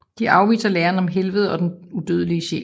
De afviser læren om helvede og den udødelige sjæl